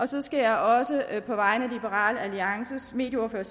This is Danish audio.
så skal jeg også på vegne af liberal alliances medieordfører